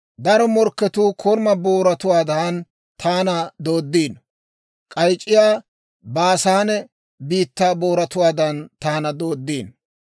Daro morkketuu koruma booratuwaadan taana dooddiino; k'ayc'c'iyaa Baasaane biittaa booratuwaadan taana dooddiino.